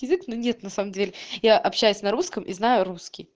язык но нет на самом деле я общаюсь на русском и знаю русский